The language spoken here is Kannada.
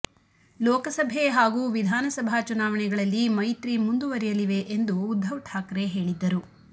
ಲೋಕಸಭೆ ಹಾಗೂ ವಿಧಾನಸಭಾ ಚುನಾವಣೆಗಳಲ್ಲಿ ಮೈತ್ರಿ ಮುಂದುವರೆಯಲಿವೆ ಎಂದು ಉದ್ಧವ್ ಠಾಕ್ರೆ ಹೇಳಿದ್ದರು